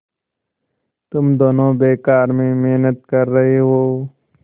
तुम दोनों बेकार में मेहनत कर रहे हो